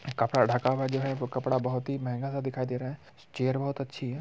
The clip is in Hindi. कपड़ा ढका हुआ जो है वो कपड़ा बहुत ही महँगा सा दिखाई दे रहा है चेयर बहुत अच्छी है।